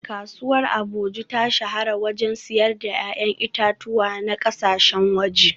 Kasuwar Agboju ta shahara wajen siyar da ‘ya’yan itatuwa na kasashen waje